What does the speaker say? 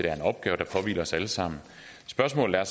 er en opgave der påhviler os alle sammen spørgsmålet er